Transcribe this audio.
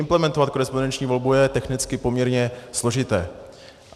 Implementovat korespondenční volbu je technicky poměrně složité.